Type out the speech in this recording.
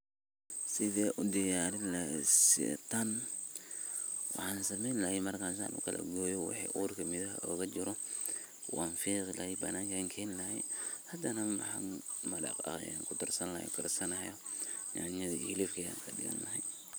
Sethi u diyarini laheet meshan ee taan waxan sameeyni lahay marka kalagooyoh wixi guutha UGA jiroh wan feeqi lahay halkan keenlahay handanah Ina maraqa kudarsan lahay nyantha iyo helibka kudarsan ahay.